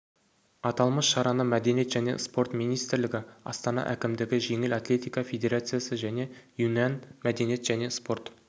аталмыш шараны мәдениет және спорт министрлігі астана әкімдігі жеңіл атлетика федерациясы және юньан мәдениет және спорт